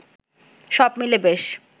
সব মিলে বেশ